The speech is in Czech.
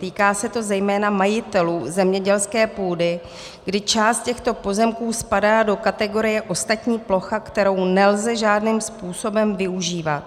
Týká se to zejména majitelů zemědělské půdy, kdy část těchto pozemků spadá do kategorie ostatní plocha, kterou nelze žádným způsobem využívat.